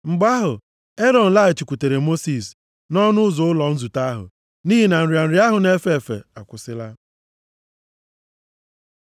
Mgbe ahụ, Erọn laghachikwutere Mosis nʼọnụ ụzọ ụlọ nzute ahụ, nʼihi na nrịa nrịa ahụ na-efe efe akwụsịla.